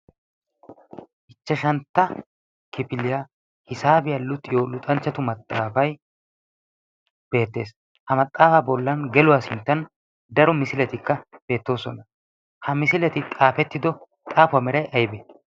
ichchashantta kifiliyaa hisaabiyaa luuxiyo luxanchchatu maxaafai beettees. ha maxaafaa bollan geluwaa sinttan daro misiletikka beettoosona. ha misileti qaafettido xaafuwaa meray aybee?